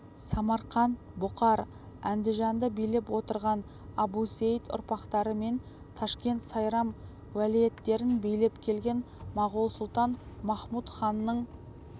самарқант бұқар андижанды билеп отырған әбусейіт ұрпақтары мен ташкент сайрам уәлиеттерін билеп келген моғол сұлтан-махмұт ханның